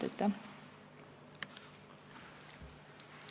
Aitäh!